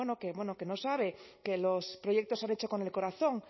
bueno que no sabe que los proyectos se han hecho con el corazón